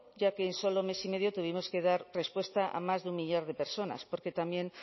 ya que en solo mes y medio tuvimos que dar respuesta a más de un millar de personas porque también